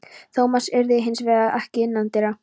Thomas eirði hins vegar ekki innandyra.